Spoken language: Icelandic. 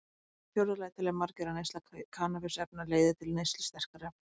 Í fjórða lagi telja margir að neysla kannabisefna leiði til neyslu sterkari efna.